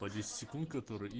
по десять секунд который и